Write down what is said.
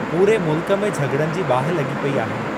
पूरे मुल्क में झॻड़नि जी बाहि लगी॒ पेई आहे।